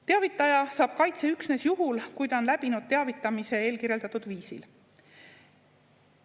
Teavitaja saab kaitse üksnes juhul, kui ta on läbinud teavitamise eelkirjeldatud viisil.